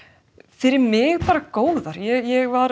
fyrir mig bara góðar ég var